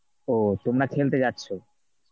ওহ তোমরা খেলতে যাচ্ছ?